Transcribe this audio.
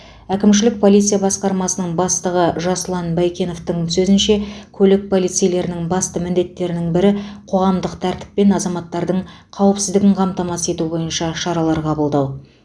әкімшілік полиция басқармасының бастығы жасұлан байкеновтің сөзінше көлік полицейлерінің басты міндеттерінің бірі қоғамдық тәртіп пен азаматтардың қауіпсіздігін қамтамасыз ету бойынша шаралар қабылдау